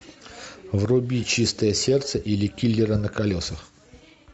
вруби чистое сердце или киллера на колесах